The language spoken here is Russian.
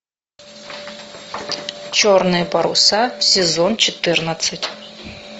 черные паруса сезон четырнадцать